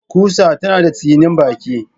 Ƙusa tana da tsinin baki